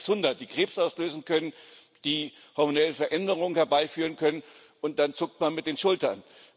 Mehr als 600, die Krebs auslösen können, die hormonelle Veränderungen herbeiführen können und dann zuckt man mit den Schultern.